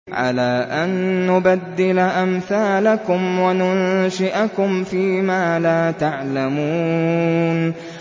عَلَىٰ أَن نُّبَدِّلَ أَمْثَالَكُمْ وَنُنشِئَكُمْ فِي مَا لَا تَعْلَمُونَ